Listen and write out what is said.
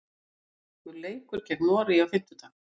Íslenska leikur gegn Noregi á fimmtudag.